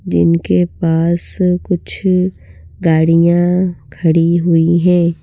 जिनके पास कुछ गाड़ियाँ खड़ी हुई हैं।